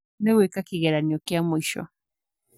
Nĩ gweka kĩgeranio kia mwisho